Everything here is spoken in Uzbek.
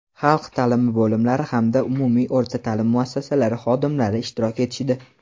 xalq ta’limi bo‘limlari hamda umumiy o‘rta ta’lim muassasalari xodimlari ishtirok etishdi.